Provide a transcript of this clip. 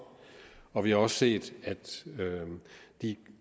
og vi har også set at de